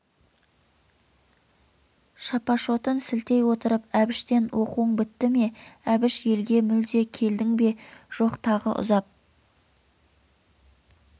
шапашотын сілтей отырып әбіштен оқуың бітті ме әбіш елге мүлде келдің бе жоқ тағы ұзап